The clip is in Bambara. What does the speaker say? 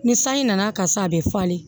Ni sanji nana ka sa a bɛ falen